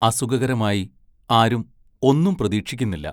അസുഖകരമായി ആരും ഒന്നും പ്രതീക്ഷിക്കുന്നില്ല.